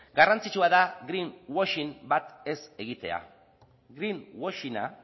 garrantzitsua da greenwashing bat ez egitea greenwashinga